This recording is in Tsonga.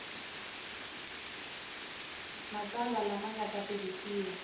matsalwa lama nga ta tirhisiwa